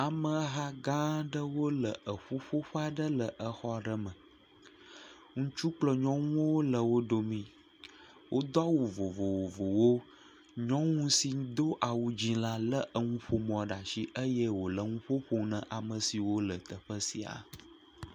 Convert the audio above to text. Ameha gã aɖewo le eƒuƒoƒe aɖe le exɔ aɖe le exɔ aɖe me, ŋutsu kple nyɔwo le wo dome, wodo awu vovovowo, nyɔnu si do awu dzee la lé enuƒomɔ ɖe asi eye wòle enuƒo ƒom ne ame siwo le teƒe sia.